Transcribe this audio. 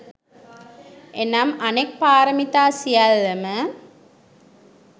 එනම් අනෙක් පාරමිතා සියල්ලම